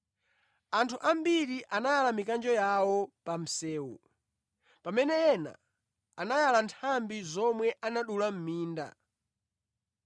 Anthu ambiri anayala mikanjo yawo pa msewu, pamene ena anayala nthambi zomwe anadula mʼminda.